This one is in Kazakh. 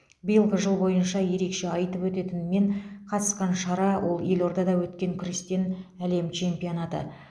биылғы жыл бойынша ерекше айтып өтетін мен қатысқан шара ол елордада өткен күрестен әлем чемпионаты